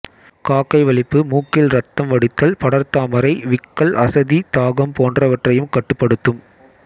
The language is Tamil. காக்கை வலிப்பு மூக்கில் ரத்தம் வடிதல் படர்தாமரை விக்கல் அசதி தாகம் போன்றவற்றையும் கட்டுப்படுத்தும்